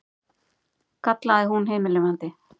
kallaði hún himinlifandi.